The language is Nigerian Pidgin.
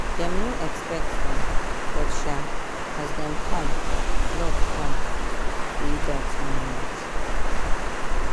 dem no expect dem but um as dem come love come dey dat moment.